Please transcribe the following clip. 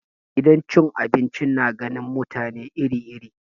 Gidan cin abinci na ganin mutane iri iri.